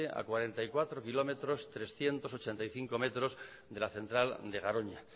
a cuarenta y cuatro kilómetros trescientos ochenta y cinco metros de la central de garoña